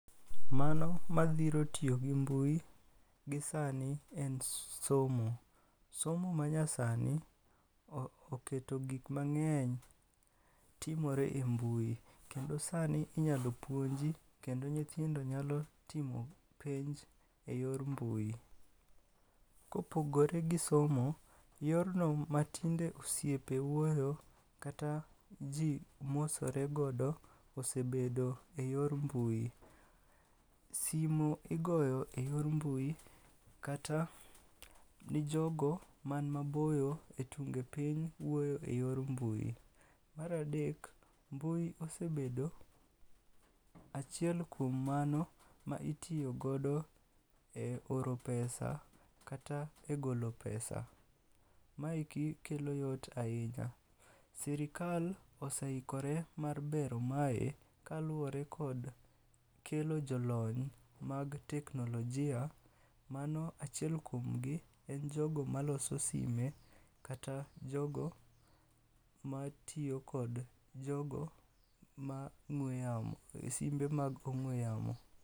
Mano madhiro tiyo gi mbui gi sani en somo. Somo manyasani oketo gik mang'eny timore e mbui. Kendo sani inyalo puonji, kendo nyithindo nyalo timo penj e yor mbui. Kopogore gi somo, yorno ma tinde osiepe wuoyo kata ji mosore godo osebedo e yor mbui. Simu igoyo e yor mbui, kata ni jogo man maboyo e tunge piny wuoyo e yor mbui. Maradek, mbui osebedo achiel kuom mano ma itiyogodo e oro pesa kata e golo pesa. Maeki kelo yot ahinya. Sirikal oseikore mar bero mae kaluwore kod kelo jolony mag teknolojia, mano achiel kuom gi en jogo maloso sime kata jogo matiyo kod jogo ma ng'ue yamo, simbe mag ong'ue yamo.